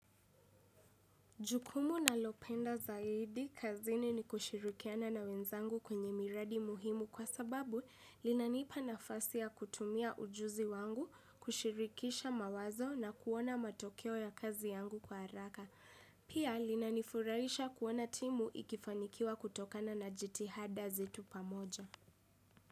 Jukumu nalopenda zaidi kazini ni kushirikiana na wenzangu kwenye miradi muhimu kwa sababu linanipa nafasi ya kutumia ujuzi wangu, kushirikisha mawazo na kuona matokeo ya kazi yangu kwa haraka. Pia linanifurahisha kuona timu ikifanikiwa kutokana na jitihada zetu pamoja.